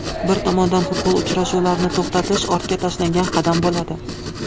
Bir tomondan futbol uchrashuvlarini to‘xtatish ortga tashlangan qadam bo‘ladi.